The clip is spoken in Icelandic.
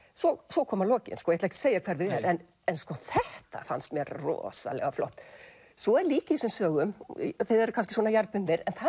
svo koma lokin ég ætla ekki að segja hver þau eru en en sko þetta fannst mér rosalega flott svo er líka í þessum sögum þið eruð kannski svona jarðbundnir en það